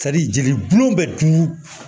jeliburu bɛ dun